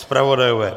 Zpravodajové?